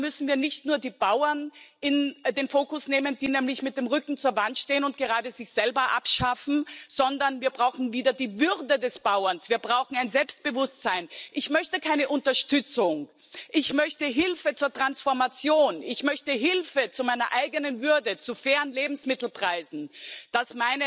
Und da müssen wir nicht nur die Bauern in den Fokus nehmen, die nämlich mit dem Rücken zur Wand stehen und gerade sich selber abschaffen, sondern wir brauchen wieder die Würde des Bauern, wir brauchen ein Selbstbewusstsein. Ich möchte keine Unterstützung, ich möchte Hilfe zur Transformation, ich möchte Hilfe zu meiner eigenen Würde, zu fairen Lebensmittelpreisen, dass